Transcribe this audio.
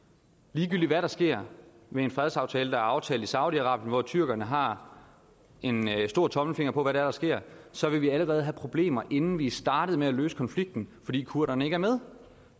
ligegyldigt hvad der sker med en fredsaftale der er aftalt i saudi arabien hvor tyrkerne har en stor tommelfinger på hvad der sker så vil vi allerede have problemer inden vi starter med at løse konflikten fordi kurderne ikke er med